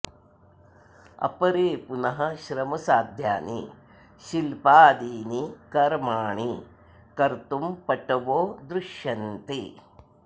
अपरे पुनः श्रमसाध्यानि शिल्पादीनि कर्माणि कर्तुं पटवो दृश्यन्ते